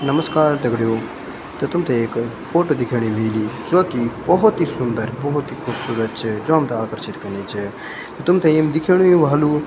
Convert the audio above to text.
नमस्कार दगडियों तो तुम्थे एक फोटो दिखेणी ह्वोली जो की बहौत ही सुन्दर बहौत ही खुबसूरत च जो हमथे आकर्षित कनी च तुम्थे एम दिखेणु ही ह्वोलु --